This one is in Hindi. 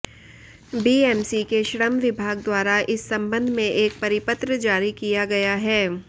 बीएमसी के श्रम विभाग द्वारा इस संबंध में एक परिपत्र जारी किया गया है